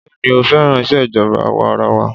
Béèni ó féràn ìṣèjọba àwa arawa.